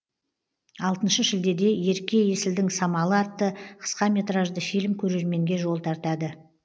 алтыншы шілдеде ерке есілдің самалы атты қысқаметражды фильм көрерменге жол тартады